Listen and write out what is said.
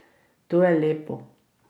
To je lepo.